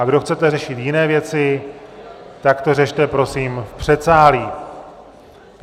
A kdo chcete řešit jiné věci, tak je řešte prosím v předsálí.